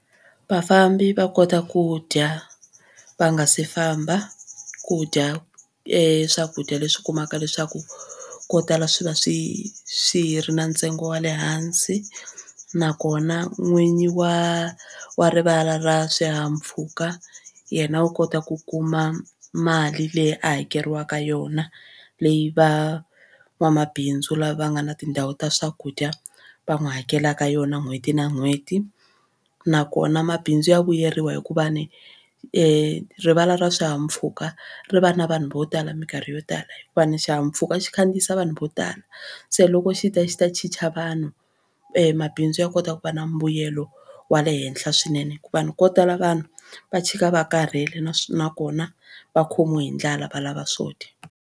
Vafambi va kota ku dya va nga si famba ku dya e swakudya leswi u kumaka leswaku ko tala swi va swi swi ri na ntsengo wa le hansi nakona n'winyi wa wa rivala ra swihahampfhuka yena u kota ku kuma mali leyi hakeriwaka yona leyi va n'wamabindzu lava nga na tindhawu ta swakudya va n'wi hakelaka yona n'hweti na n'hweti nakona mabindzu ya vuyeriwa hikuva ni rivala ra swihahampfhuka ri va na vanhu vo tala mikarhi yo tala hikuva ni xihahampfhuka xi khandziyisa vanhu vo tala se loko xi ta xi ta chicha vanhu mabindzu ya kota ku va na mbuyelo wa le henhla swinene hikuva ni ko tala vanhu va chika va karhele nakona va khomiwe hi ndlala va lava swo dya.